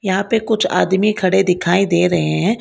यहां पे कुछ आदमी खड़े दिखाई दे रहे हैं।